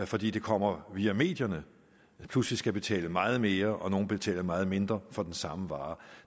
fordi det kommer via medierne pludselig skal betale meget mere og nogle betale meget mindre for den samme vare